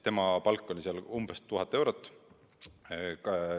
Tema palk oli seal umbes 1000 eurot.